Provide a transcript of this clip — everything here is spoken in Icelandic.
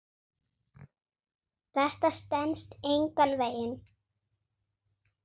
Þetta stenst engan veginn.